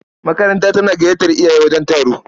Makaranta tana gayyatar iyaye wajen taro.